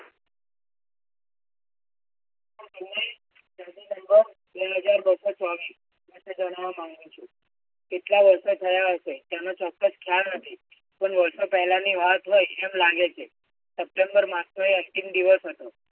બે હજાર બસ્સો ચોવીસ એ જણાવવા માંગુ છું. કેટલા વર્ષો થયા હશે એનો ચોક્કસ ખ્યાલ નથી. પણ વર્ષો પહેલાંની વાત હોય એમ લાગે છે. સપ્ટેમ્બર માસ નો એક active દિવસ હતો.